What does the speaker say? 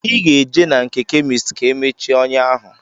Ị ga-eje na nke kemist ka e mechie ọnyá ahụ